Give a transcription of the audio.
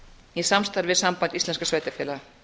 í samstarfi við samband íslenskra sveitarfélaga